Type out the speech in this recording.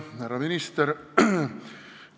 Härra minister!